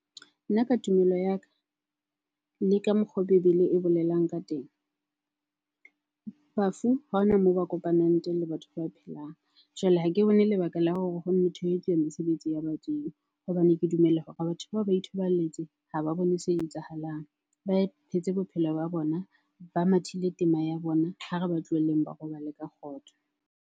Nna ka tumelo ya ka le ka mokgwa o bebele e bolelang ka teng. Bafu ha hona moo ba kopanang teng le batho ba phelang. Jwale ha ke bone lebaka la hore hono thwe ho etsuwa mesebetsi ya badimo hobane ke dumela hore batho bao ba ithoballetse, ha ba bone se etsahalang. Ba e phetse bophelo ba bona, ba mathile tema ya bona. Ha re ba tlohelleng ba robale ka kgotso.